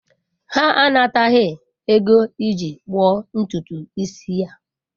Ha anataghị ego iji gbuo ntutu isi ya.